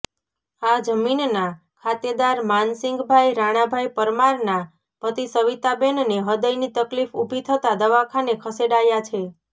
આ જમીનના ખાતેદાર માનસીંગભાઈ રાણાભાઈ પરમારના પતિ સવિતાબેનને હદયની તકલીફ ઉભી થતા દવાખાને ખસેડાયા છે